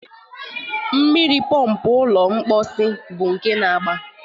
Mmiri pọmpụ ụlọ mposi bụ nke na-agbaa